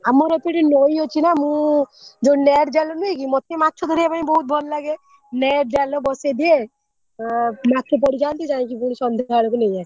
ଆମର ଏଇପଟେ ନଇ ଅଛିନା ମୁ ଯୋଉ net ଜାଲ ନୁହେଁ କି ମତେ ମାଛ ଧରିବା ପାଇଁ ବହୁତ ଭଲ ଲାଗେ net ଜାଲ ବସେଇଦିଏ ମାଛ ପଡ଼ିଯାନ୍ତି ଜାଇକି ଫୁଣି ସନ୍ଧ୍ୟା ବେଳକୁ ନେଇଆସେ।